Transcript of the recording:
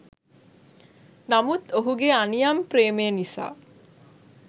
නමුත් ඔහුගේ අනියම් ප්‍රේමය නිසා